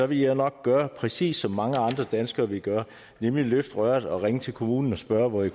vil jeg nok gøre præcis som mange andre danskere vil gøre nemlig løfte røret og ringe til kommunen og spørge hvor jeg